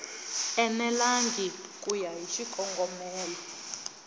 enelangi ku ya hi xikongomelo